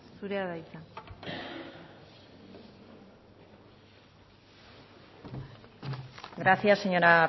zure da hitza gracias señora